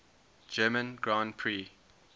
german grand prix